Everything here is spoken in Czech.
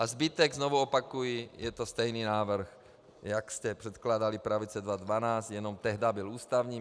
A zbytek, znovu opakuji, je to stejný návrh, jak jste předkládali, pravice, 2012, jenom tehdy byl ústavní.